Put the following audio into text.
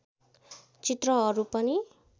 चित्रहरू पनि